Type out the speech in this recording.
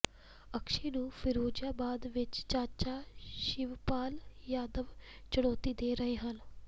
ਅਕਸ਼ੈ ਨੂੰ ਫਿਰੋਜਾਬਾਦ ਵਿਚ ਚਾਚਾ ਸ਼ਿਵਪਾਲ ਯਾਦਵ ਚੁਣੌਤੀ ਦੇ ਰਹੇ ਹਨ